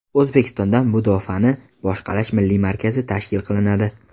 O‘zbekistonda Mudofaani boshqarish milliy markazi tashkil qilinadi.